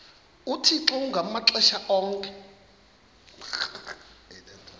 uthixo ngamaxesha onke